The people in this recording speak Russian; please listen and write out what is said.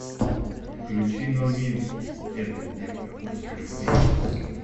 включи нурминский эта девка хочет любви